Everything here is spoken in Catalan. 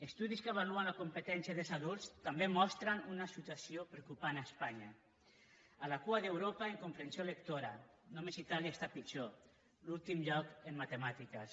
estudis que avaluen la competència dels adults també mostren una situació preocupant a espanya a la cua d’europa en comprensió lectora només itàlia està pitjor l’últim lloc en matemàtiques